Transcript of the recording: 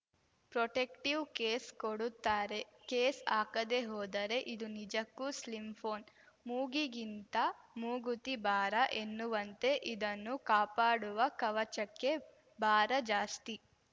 protective case ಕೊಡುತ್ತಾರೆ case ಹಾಕದೇ ಹೋದರೆ ಇದು ನಿಜಕ್ಕೂ ಸ್ಲಿಮ್‌ ಫೋನ್ ಮೂಗಿಗಿಂತ ಮೂಗುತಿ ಭಾರ ಎನ್ನುವಂತೆ ಇದನ್ನು ಕಾಪಾಡುವ ಕವಚಕ್ಕೇ ಭಾರ ಜಾಸ್ತಿ